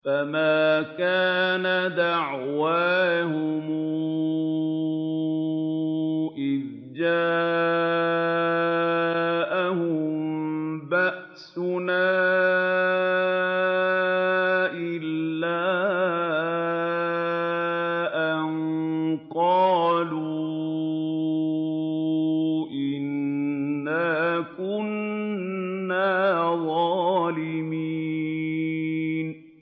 فَمَا كَانَ دَعْوَاهُمْ إِذْ جَاءَهُم بَأْسُنَا إِلَّا أَن قَالُوا إِنَّا كُنَّا ظَالِمِينَ